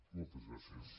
moltes gràcies